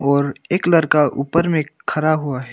और एक लड़का ऊपर में खड़ा हुआ है।